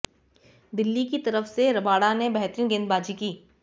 दिल्ली की तरफ से रबाडा ने बेतरहीन गेंदबाजी की